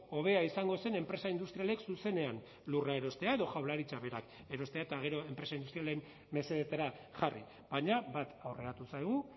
hobea izango zen enpresa industrialek zuzenean lurra erostea edo jaurlaritzak berak erostea eta gero enpresa industrialen mesedetara jarri baina bat aurreratu zaigu